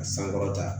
Ka sankɔrɔta